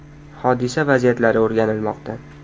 Hodisa vaziyatlari o‘rganilmoqda.